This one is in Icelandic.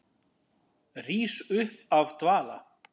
Rís upp af dvala.